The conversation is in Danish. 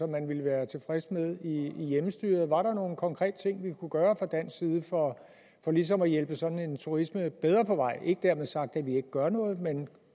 man ville være tilfreds med i hjemmestyret var der nogle konkrete ting vi kunne gøre fra dansk side for ligesom at hjælpe sådan en turisme bedre på vej ikke dermed sagt at vi ikke gør noget men